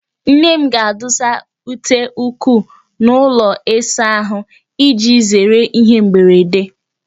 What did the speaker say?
Nne m ga-adụsa ute ụkwụ n'ụlọ ịsa ahụ, iji zere ihe mberede